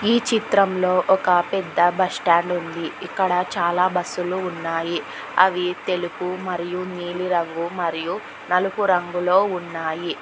ఈ చిత్రంలో ఒక పెద్ద బస్టాండ్ ఉంది ఇక్కడ చాలా బస్సు లు ఉన్నాయి అవి తెలుపు మరియు నీలి రంగు మరియు నలుపు రంగులో ఉన్నాయి.